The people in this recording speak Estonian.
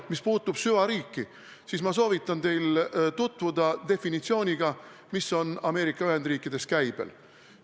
Mis puutub süvariiki, siis ma soovitan teil tutvuda definitsiooniga, mis on Ameerika Ühendriikides käibel.